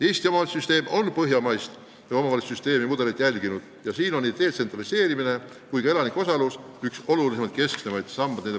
Eesti omavalitsuste süsteem on järginud põhjamaist mudelit, mille puhul on detsentraliseerimine ja elanike osalus üks keskseid sambaid.